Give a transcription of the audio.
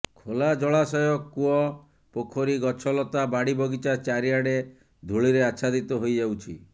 ଖୋଲା ଜଳାଶୟ କୂଅ ପୋଖରୀ ଗଛ ଲତା ବାଡି ବଗିଚା ଚାରିଆଡେ ଧୂଳିରେ ଆଚ୍ଛାଦିତ ହୋଇଯାଉଛି